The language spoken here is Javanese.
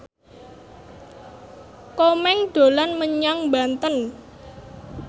Komeng dolan menyang Banten